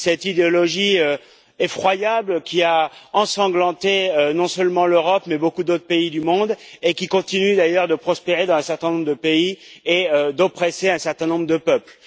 Cette idéologie effroyable qui a ensanglanté non seulement l'Europe, mais beaucoup d'autres pays du monde et qui continue d'ailleurs de prospérer dans un certain nombre de pays et d'oppresser un certain nombre de peuple.